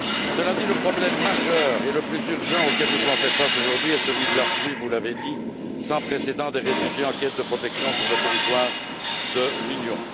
Cela dit, le problème majeur et le plus urgent auquel nous devons faire face aujourd'hui est celui de l'afflux vous l'avez dit sans précédent des réfugiés en quête de protection sur le territoire de l'Union.